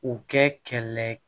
U kɛ kɛlɛ